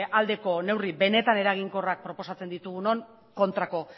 aldeko neurri benetan eraginkorrak proposatzen ditugunon kontrako